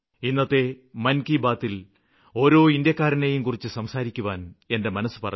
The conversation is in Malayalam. ഇന്നത്തെ മന് കി ബാത്തില് ഓരോ ഇന്ത്യാക്കാരനേയും കുറിച്ച് സംസാരിക്കാന് എന്റെ മനസ്സ് പറഞ്ഞു